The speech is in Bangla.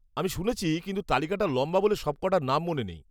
-আমি শুনেছি, কিন্তু তালিকাটা লম্বা বলে সবক'টা নাম মনে নেই।